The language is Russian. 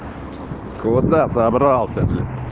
куда собрался блять